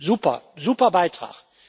Super, super Beitrag.